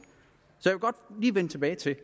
vende tilbage til